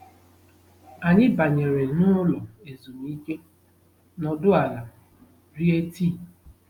Anyị banyere n'ụlọ ezumike, nọdụ ala, rie tii.